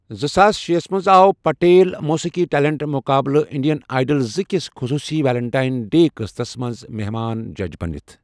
زٕساس شے ہَس منٛز آو پٹیل موسیٖقی ٹیلنٹ مُقابلہٕ انڈین آئیڈل زٕ کِس خصوٗصی ویلنٹائن ڈے قستس منٛز مہمان جج بٔنِتھ ۔